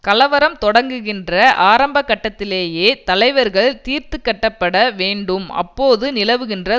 கலவரம் தொடங்குகின்ற ஆரம்பக்கட்டத்திலேயே தலைவர்கள் தீர்த்துக்கட்டப்பட வேண்டும் அப்போது நிலவுகின்ற